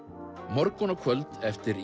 morgun og kvöld eftir